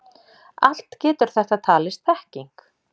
Allt getur þetta talist þekking.